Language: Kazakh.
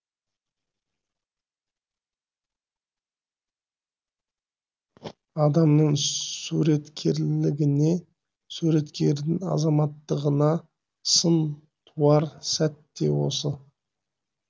адамның суреткерлігіне суреткердің азаматтығына сын туар сәт те осы